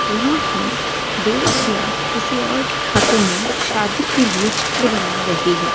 वह अपने दोस्त या किसी और के हाथों में शादी के लिए चित्र बना रही है।